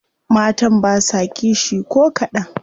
Matan basa kishi ko kadan.